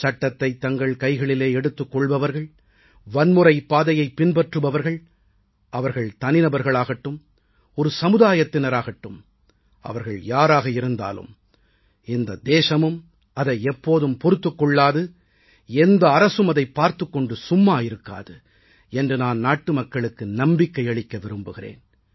சட்டத்தைத் தங்கள் கைகளிலே எடுத்துக் கொள்பவர்கள் வன்முறைப் பாதையைப் பின்பற்றுபவர்கள் அவர்கள் தனிநபர்களாகட்டும் ஒரு சமுதாயத்தினர் ஆகட்டும் அவர்கள் யாராக இருந்தாலும் இந்த தேசமும் அதை எப்போதும் பொறுத்துக் கொள்ளாது எந்த அரசும் அதைப் பார்த்துக் கொண்டு சும்மா இருக்காது என்று நான் நாட்டுமக்களுக்கு நம்பிக்கை அளிக்க விரும்புகிறேன்